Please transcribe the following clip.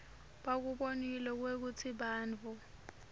bakubonile kwekutsi bantfu